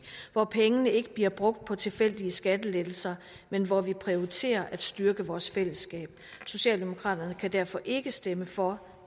hvor pengene ikke bliver brugt på tilfældige skattelettelser men hvor vi prioriterer at styrke vores fællesskab socialdemokraterne kan derfor ikke stemme for